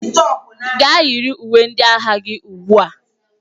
Gaa yiri uwe ndị agha gị ugbu a!